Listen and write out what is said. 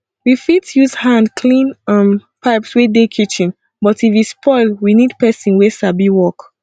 we fit use hand clean um pipes wey dey kitchen but if e spoil we need person wey sabi work